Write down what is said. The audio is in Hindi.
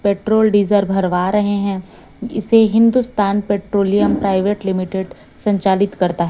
पेट्रोल डीजल भरवा रहे हैं इसे हिंदुस्तान पैट्रोलियम प्राइवेट लिमिटेड संचालित करता है।